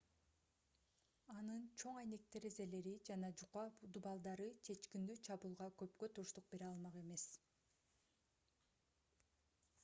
анын чоң айнек терезелери жана жука дубалдары чечкиндүү чабуулга көпкө туруштук бере алмак эмес